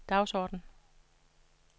dagsorden